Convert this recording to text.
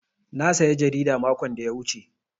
Na saya jarida makon da ya wuce.